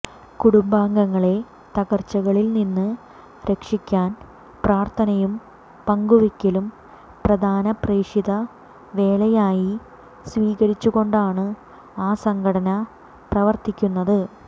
കുടുംബങ്ങളെ തകർച്ചകളിൽ നിന്ന് രക്ഷിക്കാൻ പ്രാർത്ഥനയും പങ്കുവയ്ക്കലും പ്രധാന പ്രേഷിത വേലയായി സ്വീകരിച്ചുകൊണ്ടാണ് ആ സംഘടന പ്രവർത്തിക്കുന്നത്